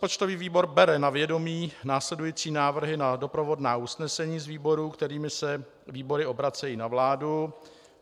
Rozpočtový výbor bere na vědomí následující návrhy na doprovodná usnesení z výborů, kterými se výbory obracejí na vládu.